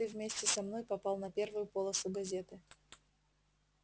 ты вместе со мной попал на первую полосу газеты